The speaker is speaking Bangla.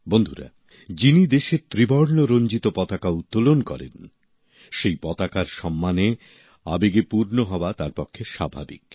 বন্ধুরা যিনি দেশের ত্রিবর্ণ রঞ্জিত পতাকা উত্তোলন করেন সেই পতাকার সম্মানে আবেগে পূর্ণ হওয়া তাঁর পক্ষে স্বাভাবিক